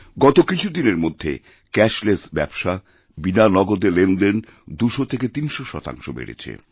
গতকিছুদিনের মধ্যে ক্যাশলেস ব্যবসা বিনা নগদে লেনদেন ২০০ থেকে ৩০০ শতাংশ বেড়েছে